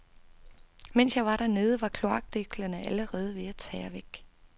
Mens jeg var dernede, var kloakdækslerne allerede ved at tære væk.